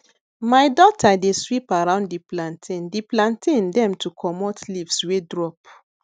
my daughter dey sweep around di platntain di platntain dem to comot leaves wey drop